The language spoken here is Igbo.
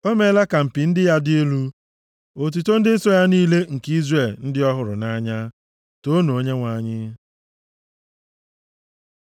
O meela ka mpi + 148:14 Mpi bụ ihe na-egosipụta ike, gụọ akwụkwọ \+xt 1Sa 2:1\+xt* ndị ya dị elu, otuto ndị nsọ ya niile, nke Izrel ndị ọ hụrụ nʼanya. Toonu Onyenwe anyị.